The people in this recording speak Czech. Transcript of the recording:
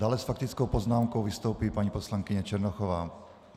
Dále s faktickou poznámkou vystoupí paní poslankyně Černochová.